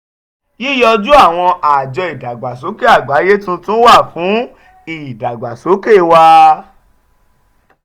yiyoju àwọn àjọ ìdàgbàsókè àgbáyé tuntun wa fún ìdàgbàsókè wà.